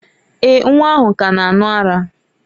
Èè, nwa ahụ ka na-aṅụ ara.